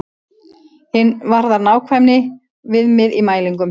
Hin varðar nákvæmni og viðmið í mælingum.